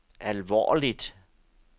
alvorligt